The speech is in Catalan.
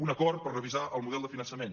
un acord per revisar el model de finança·ment